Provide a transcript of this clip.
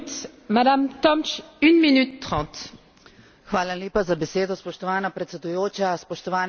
Hvala lepa za besedo spoštovana predsedujoča, spoštovane kolegice in kolegi, komisarka gospa Thyssenova.